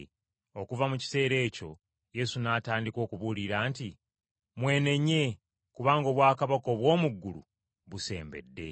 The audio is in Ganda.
Okuva mu kiseera ekyo Yesu n’atandika okubuulira nti, “Mwenenye, kubanga obwakabaka obw’omu ggulu busembedde.”